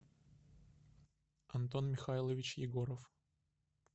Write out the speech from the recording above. антон михайлович егоров